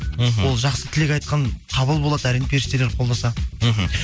мхм ол жақсы тілек айтқан қабыл болады әрине періштелер қолдаса мхм